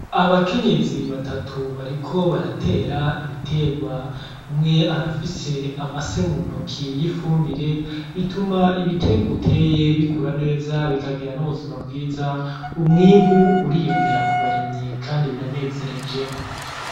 Abakenyezi batatu bariko baratera ibiterwa. Umwe arafise amase mu ntoke y’ifumbire bituma ibiterwa uteye bikura neza bikagira n’ubuzima bwiza umwimbu uriyongera ku barimyi kandi biranezereje.